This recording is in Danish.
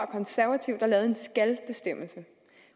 konservative der lavede en skalbestemmelse